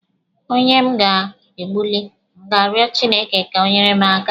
Onye m ga-egbuli, a ga m arịọ Chineke ka o nyeere m aka?